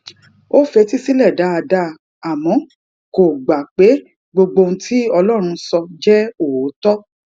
ó fetí sílè dáadáa àmó kò gbà pé gbogbo ohun tí ọlórun sọ jé òótó